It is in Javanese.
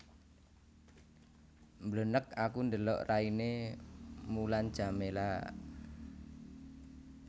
Mblenek aku ndelok raine Mulan Jameela